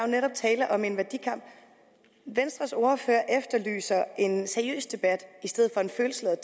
netop tale om en værdikamp venstres ordfører efterlyser en seriøs debat i stedet for en følelsesladet